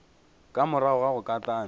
ka morago ga go katana